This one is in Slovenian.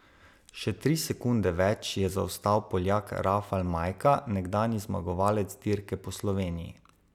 Še tri sekunde več je zaostal Poljak Rafal Majka, nekdanji zmagovalec dirke po Sloveniji.